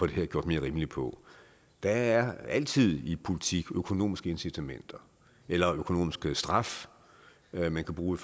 her gjort mere rimeligt på der er altid i politik økonomiske incitamenter eller økonomisk straf man kan bruge